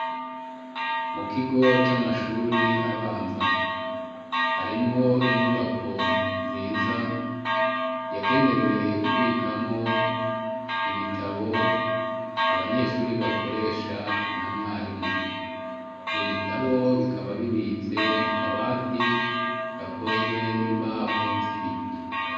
Mu kigo c'amashure abanza, hariho inyubako nziza yagenewe kubikamwo ibitabu abanyeshure bakoresha na mwarimu. Ivyo bitabo bikaba bibitse mu kabati gakozwe n'imbaho z'ibiti.